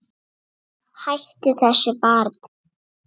Hættu þessu barn!